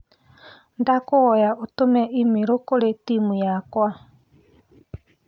Ndagũkũhoya ũtũme i-mīrū kũrĩ timũ yakwa.